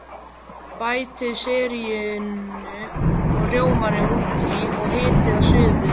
Bætið sérríinu og rjómanum út í og hitið að suðu.